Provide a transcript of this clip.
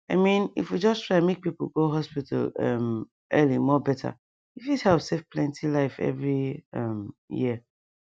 i mean if we just try make people go hospital um early more better e fit help save plenty life every um year